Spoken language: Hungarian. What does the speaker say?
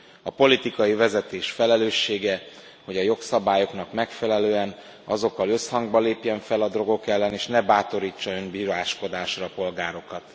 A politikai vezetés felelőssége, hogy a jogszabályoknak megfelelően, azokkal összhangban lépjen fel a drogok ellen, és ne bátorítsa önbíráskodásra a polgárokat.